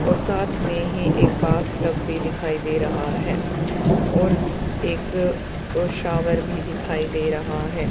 और साथ में ही एक बाथटब भी दिखाई दे रहा है और एक शावर भी दिखाई दे रहा --